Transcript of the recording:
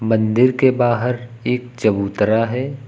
मंदिर के बाहर एक चबूतरा है।